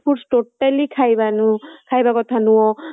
food totally ଖାଈବାନୁ ଖାଇବା କଥା ନୁହଁ